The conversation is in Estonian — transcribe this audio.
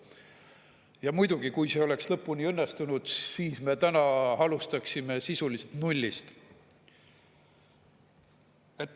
Ja muidugi, kui see oleks lõpuni õnnestunud, siis me täna alustaksime sisuliselt nullist.